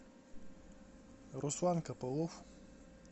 руслан копылов